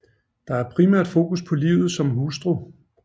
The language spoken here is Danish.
Der er primært fokus på livet som hustru